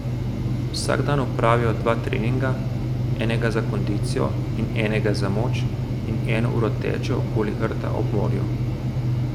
Vsak dan opravijo dva treninga, enega za kondicijo in enega za moč, in eno uro tečejo okoli rta ob morju.